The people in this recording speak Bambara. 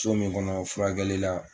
So min kɔnɔ furakɛli la